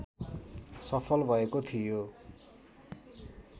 सफल भएको थियो